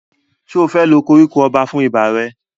Ṣé o fẹ́ lo koríko ọba fún ibà rẹ?